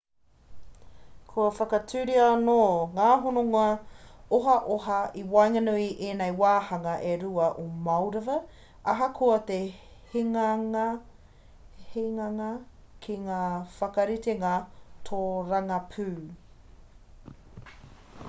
kua whakatūria anō ngā hononga ohaoha i waenganui i ēnei wāhanga e rua o moldova ahakoa te hinganga ki ngā whakaritenga tōrangapū